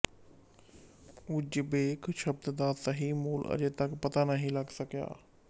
Uzbek ਸ਼ਬਦ ਦਾ ਸਹੀ ਮੂਲ ਅਜੇ ਤੱਕ ਪਤਾ ਨਹੀਂ ਲਗ ਸਕਿਆ ਹੈ